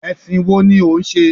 Ẹ̀sìn wo ni ò ń ṣe?